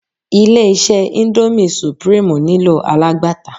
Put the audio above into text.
Ilé-iṣẹ́ índómì sùprímù nílò alágbàtà.